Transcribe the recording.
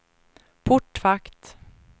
portvakt